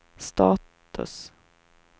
status